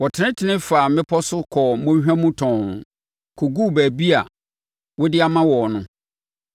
Wɔtenetenee faa mmepɔ so, kɔɔ mmɔnhwa mu tɔnn, kɔguu baabi a wode ama wɔn no.